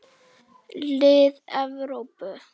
Lið Evrópu.